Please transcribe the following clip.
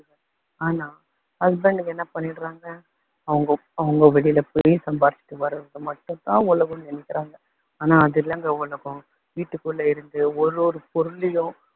ஆனா husband ங்க என்ன பண்ணிடுறாங்க, அவங்க அவங்க வெளியில போய் சம்பாதிச்சுட்டு வர்றது மட்டும் தான் உலகம்னு நினைக்குறாங்க. ஆனா அது இல்லங்க உலகம், வீட்டுக்குள்ள இருந்து ஒவ்வொரு பொருளிலும்